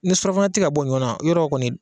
Ni surafana tɛ ka bɔ ɲɔ na yarɔ kɔni